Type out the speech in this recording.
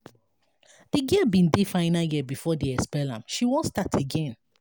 di girl bin dey final year before dem expel am she wan start again.